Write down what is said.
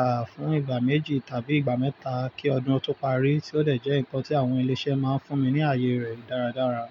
àh, fún ìgbà méjì tàbí ìgbà mẹ́ta kí ọdún tó parí tí ó dẹ̀ jẹ́ nǹkan tí àwọn ilé-iṣẹ́ máa ń fún mi ní ayẹyẹ rẹ̀ dáradára.